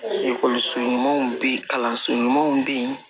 Ekɔliso ɲumanw bɛ yen kalanso ɲumanw bɛ yen